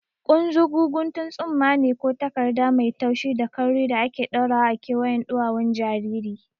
Kunzugu guntun tsumma ne ko takarda mai taushi da kauri da ake ɗaurawa a kewayen ɗuwawun jariri.